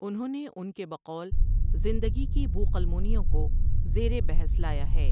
اُنھوں نے اُن کے بقول زندگی کی بو قلمونیوں کو زیرِ بحث لایا ہے ۔